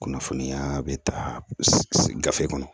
Kunnafoniya bɛ ta gafe kɔnɔ